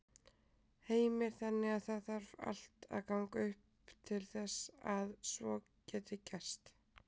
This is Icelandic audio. Heimir: Þannig að það þarf allt að ganga upp til þess að svo geti gerst?